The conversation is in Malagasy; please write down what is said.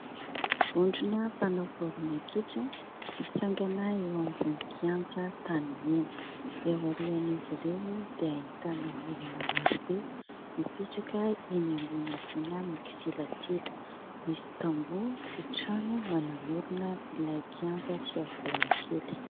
Vondrona mpanao baolina kitra mitsangana eo ambonin' ny kianja tanimena. Eo arian' izy ireo dia ahitana olona marobe mipetraka eny ambony havoana mikisilasila. Misy tamboho sy trano manamorona ilay kianja sy havoana kely.